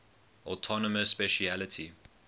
autonomous specialty